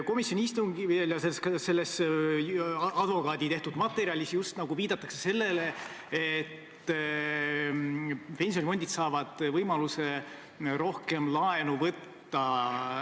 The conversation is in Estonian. Komisjoni istungil kõneks olnud advokaadi koostatud materjalis just nagu viidatakse sellele, et pensionifondid saavad võimaluse rohkem laenu võtta.